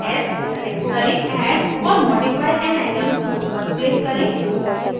s select करें add or modify an atom tool पर click करें